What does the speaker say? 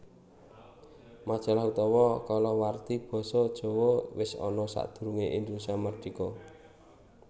Majalah utawa kalawarti Basa Jawa wis ana sadurungé Indonesia mardhika